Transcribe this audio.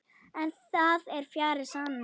En það er fjarri sanni.